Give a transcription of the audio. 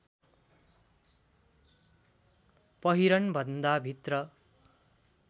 पहिरनभन्दा भित्र